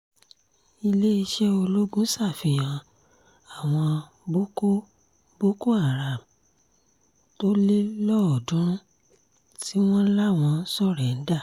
iléeṣẹ́ ológun ṣàfihàn àwọn boko boko haram tó le lọ́ọ̀ọ́dúnrún tí wọ́n láwọn só̩ré̩ńdà